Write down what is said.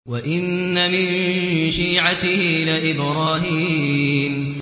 ۞ وَإِنَّ مِن شِيعَتِهِ لَإِبْرَاهِيمَ